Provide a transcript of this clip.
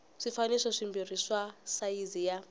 swifaniso swimbirhi swa sayizi ya